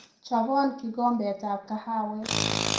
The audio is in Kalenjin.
Chobon kikombetab kahawek